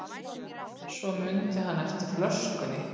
Svo mundi hann eftir flöskunni.